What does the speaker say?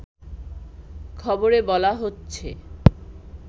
খবরে বলা হচ্ছে